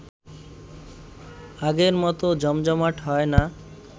আগের মতো জমজমাট হয় না